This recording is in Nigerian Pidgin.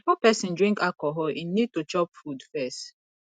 before person drink alcohol im need to chop food first